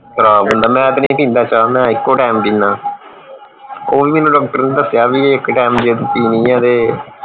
ਪਰਾ ਪੀਂਦਾ ਮੈਂ ਤੇ ਨਹੀਂ ਪੀਂਦਾ ਚਾ ਮੈਂ ਇੱਕੋ ਟੈਮ ਪੀਨਾ ਉਹ ਵੀ ਮੈਨੂੰ ਡਾਕਟਰ ਨੇ ਦਸਿਆ ਵੀ ਇਕ ਇਕ ਟੈਮ ਦੀ ਪੀਣੀ ਏ ਤੇ